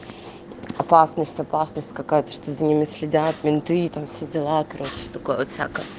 опасность опасность какая же ты за ними следят менты и там все дела короче